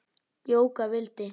Jóka vildi.